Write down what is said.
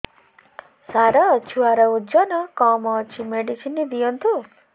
ସାର ଛୁଆର ଓଜନ କମ ଅଛି ମେଡିସିନ ଦିଅନ୍ତୁ